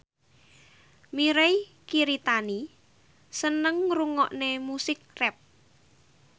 Mirei Kiritani seneng ngrungokne musik rap